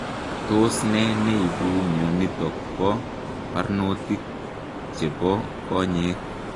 Tos nee neibuu mionitok poo parnotik chepoo konyeek?